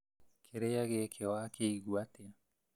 Kĩrĩa gĩkĩ wakĩigua atĩa